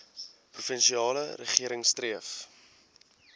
provinsiale regering streef